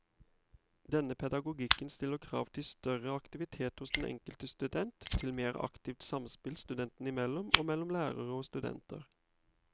Denne pedagogikken stiller krav til større aktivitet hos den enkelte student, til mer aktivt samspill studentene imellom og mellom lærere og studenter.